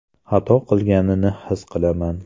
Xato qilganini his qilaman.